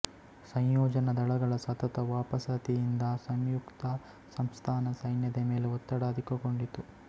ಸಂಯೋಜನಾ ದಳಗಳ ಸತತ ವಾಪಸಾತಿಯಿಂದ ಸಂಯುಕ್ತ ಸಂಸ್ಥಾನ ಸೈನ್ಯದ ಮೇಲೆ ಒತ್ತಡ ಅಧಿಕಗೊಂಡಿತು